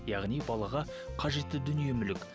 яғни балаға қажетті дүние мүлік